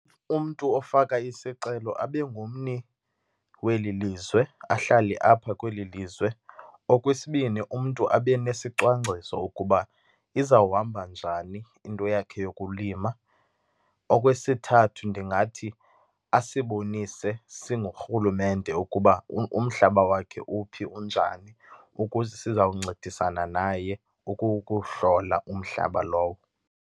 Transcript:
Umntu ofaka isicelo abe ngummi weli lizwe, ahlale apha kweli lizwe. Okwesibini, umntu abe nesicwangciso ukuba izawuhamba njani into yakhe yokulima. Okwesithathu, ndingathi asibonise singurhulumente ukuba umhlaba wakhe uphi, unjani, ukuze sizawuncedisana naye ukuwuhlola umhlaba lowo.